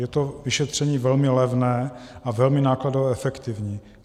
Je to vyšetření velmi levné a velmi nákladově efektivní.